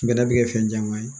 Bɛnɛ bɛ kɛ fɛn caman ye